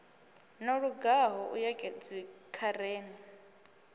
no lugaho u ya dzikhareni